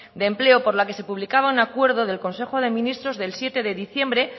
de empleo por la que se publicaba un acuerdo del consejo de ministros del siete de diciembre